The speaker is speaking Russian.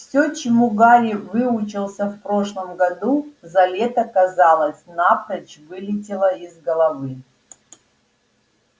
все чему гарри выучился в прошлом году за лето казалось напрочь вылетело из головы